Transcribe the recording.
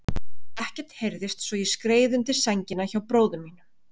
Ekkert heyrðist svo ég skreið undir sængina hjá bróður mínum.